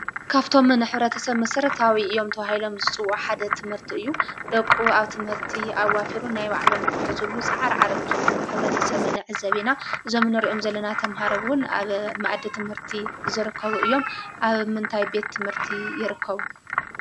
ካብቶም ንኅብረተሰብ መሰረታዊ እዮም ተባሂሎም ዝፅውዑ ሓደ ትምህርቲ እዩ። ደቁ ኣብ ትምህርቲ ኣዋፊሩን ናይ ባዕሎም ንዂሕዝሉ ፀዓርዓር እንትብሉ ኅብረተሰብ ንዕዘብ ኢና። እዞም እንርእዮም ዘለና ተምሃረ እውን ኣብ መእዲ ትምህርቲ ዝርከቡ እዮም። ኣብ ምንታይ ቤት ትምህርቲ ይርከቡ?